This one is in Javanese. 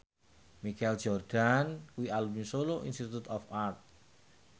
Michael Jordan kuwi alumni Solo Institute of Art